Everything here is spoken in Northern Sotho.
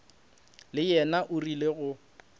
le yena o rile go